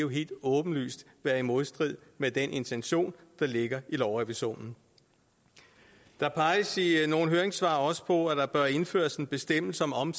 vil helt åbenlyst være i modstrid med den intention der ligger i lovrevisionen der peges i nogle høringssvar også på at der bør indføres en bestemmelse om